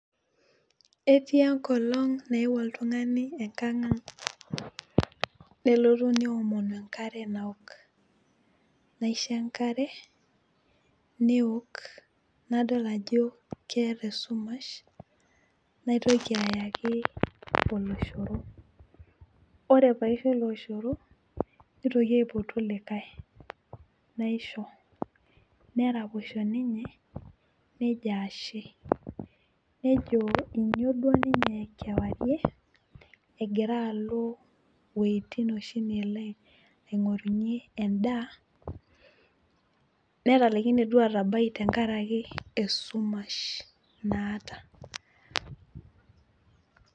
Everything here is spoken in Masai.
etii enkolong nayewuo oltungani enkang ang, nelotu neomonu enkare, naok, naisho enkare, neok, nadol ajo keta esumusha. naitoki ayaki oloshoro. ore pee aisho oloshoro, neitoki aipotu likae, neraposho ninye nejo ashe, nejo inyio duo ninye kewarie egira alo iwuejitin oshi nelo aing'orunye, edaa netalaikine duoo atabai tenkaraki esumash naata.